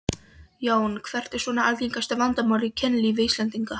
Jón: Hvert er svona algengasta vandamálið í kynlífi Íslendinga?